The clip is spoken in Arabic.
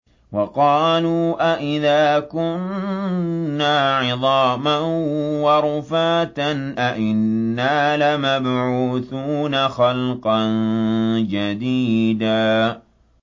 وَقَالُوا أَإِذَا كُنَّا عِظَامًا وَرُفَاتًا أَإِنَّا لَمَبْعُوثُونَ خَلْقًا جَدِيدًا